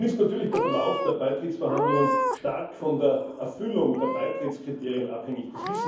Nun ist natürlich der Verlauf der Beitrittsverhandlungen stark von der Erfüllung der Beitrittskriterien abhängig.